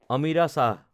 Amira Shah